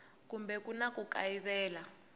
kambe ku na ku kayivela